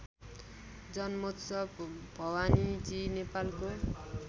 जन्मोत्सव भवानीजी नेपालको